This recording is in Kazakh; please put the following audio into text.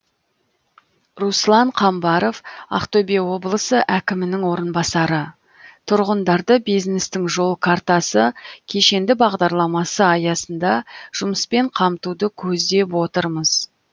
руслан қамбаров ақтөбе облысы әкімінің орынбасары тұрғындарды бизнестің жол картасы кешенді бағдарламасы аясында жұмыспен қамтуды көздеп отырмыз